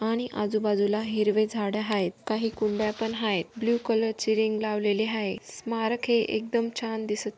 आणि आजू बाजूला हिरवे झाड आहेत काही कुंड्या पण आहेत ब्लू कलर चे रिंग लावलेले आहेत स्मारक हे एकदम छान दिसत--